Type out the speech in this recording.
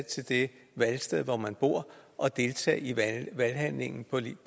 til det valgsted hvor man bor og deltage i valghandlingen